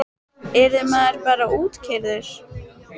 Yrði maður bara útkeyrður?